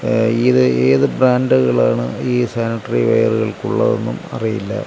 ങ് ഇത് ഏത് ബ്രാൻഡുകളാണ് ഈ സാനിറ്ററിവെയറുകൾക്കുള്ളതെന്നും അറിയില്ല.